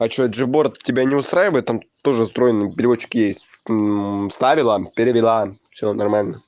а что джиборд тебя не устраивает там тоже встроенный переводчик есть уу вставила перевела всё нормально